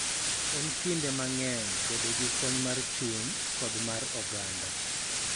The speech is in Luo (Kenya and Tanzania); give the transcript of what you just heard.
En kinde mang�eny bedo gi kony mar chuny kod mar oganda.